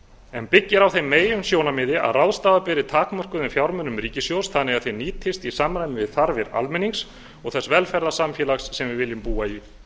en byggir á þeim meginsjónarmiði að ráðstafa beri takmörkuðum fjármunum ríkissjóðs þannig að þeir nýtist í samræmi við þarfir almennings og þess velferðarsamfélags sem við viljum búa í